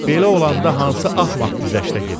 Belə olanda hansı axmaq güzəşdə gedər?